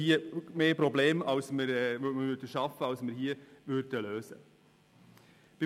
Wir würden mehr Probleme schaffen, als wir lösen würden.